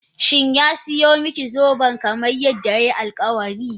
Shin ya siyo miki zoben kamar yadda yayi alkawari?